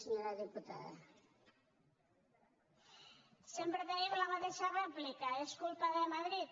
sempre tenim la mateixa rèplica és culpa de madrid